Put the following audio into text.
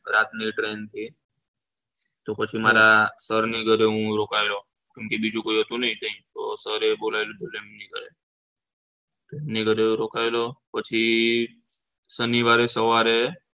રાતની train હતી તો પછી મારા sir ના ઘરે રોકાયો બીજું કોઈ હતું નહી એટલે sir પછી શનિવારે સવારે